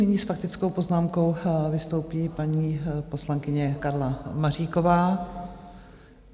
Nyní s faktickou poznámkou vystoupí paní poslankyně Karla Maříková.